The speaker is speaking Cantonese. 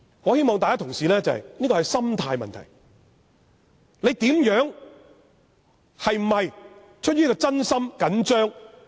我希望同事明白這是心態的問題，是否出於真心、緊張。